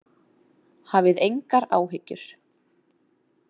Hafið engar áhyggjur.